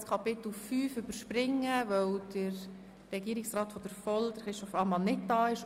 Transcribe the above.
Das Kapitel 5 werden wir überspringen, weil der Volkswirtschaftsdirektor Christoph Ammann nicht da ist.